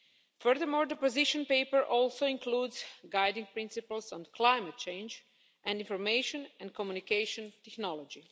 Furthermore, the position paper also includes guiding principles on climate change and information and communication technology.